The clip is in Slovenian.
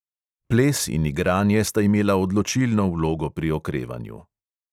Ples in igranje sta imela odločilno vlogo pri okrevanju.